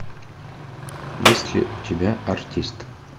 есть ли у тебя артист